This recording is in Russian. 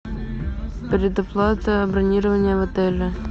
предоплата бронирования в отеле